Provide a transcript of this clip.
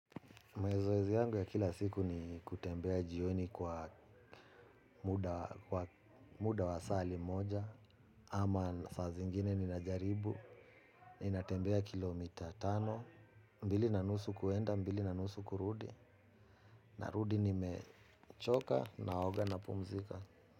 Mezoezi yangu ya kila siku ni kutembea jioni kwa muda wa sali moja. Ama sa zingine ni najaribu ni natembea kilomita tano. Mbili na nusu kuenda, mbili na nusu kurudi. Na rudi ni mechoka naoga napumzika.